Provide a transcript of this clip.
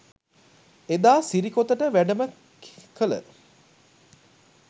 එදා සිරිකොතට වැඩම කළ